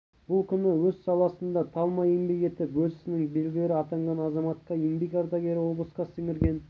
бұл күні өз саласында талмай еңбек етіп өз ісінің білгірі атанған азаматқа еңбек ардагері облысқа сіңірген